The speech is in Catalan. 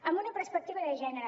amb una perspectiva de gènere